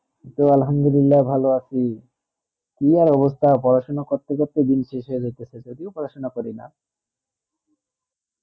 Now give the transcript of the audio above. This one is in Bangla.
আলহামদুলিল্লা ভালো আছি, কি আর অবস্থা পড়াশোনা করতে করতে দিন শেষ হয়েগেছে সে যদিও পড়াশোনা করি না